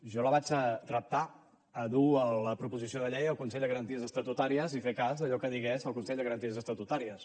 jo la vaig reptar a dur la proposició de llei al consell de garanties estatutàries i fer cas a allò que digués el consell de garanties estatutàries